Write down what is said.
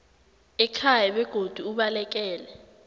ekhaya begodu ubalekele